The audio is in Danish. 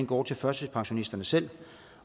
går til førtidspensionisterne selv